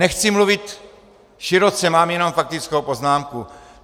Nechci mluvit široce, mám jenom faktickou poznámku.